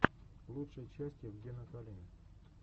лучшая часть евгена калины